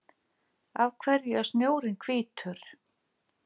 af hverju er snjórinn hvítur